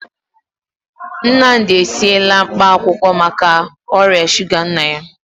Nnamdi esiela mkpaakwụkwọ maka ọrịa shuga nna ya.